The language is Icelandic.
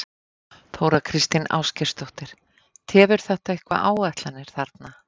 Þóra Kristín Ásgeirsdóttir: Tefur þetta eitthvað áætlanir þarna?